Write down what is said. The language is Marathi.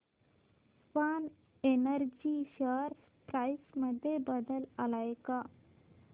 स्वान एनर्जी शेअर प्राइस मध्ये बदल आलाय का